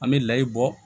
An bɛ layi bɔ